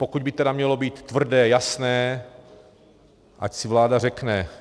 Pokud by tedy mělo být tvrdé, jasné, ať si vláda řekne.